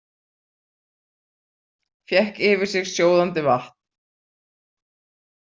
Fékk yfir sig sjóðandi vatn